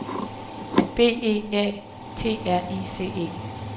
B E A T R I C E